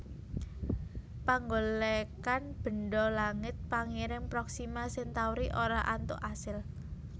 Panggolèkan bendha langit pangiring Proxima Centauri ora antuk asil